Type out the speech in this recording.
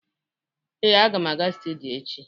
ee, aga m aga studio echi